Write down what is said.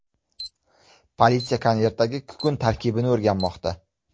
Politsiya konvertdagi kukun tarkibini o‘rganmoqda.